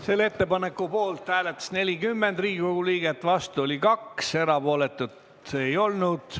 Selle ettepaneku poolt hääletas 40 Riigikogu liiget, vastu oli 2, erapooletuid ei olnud.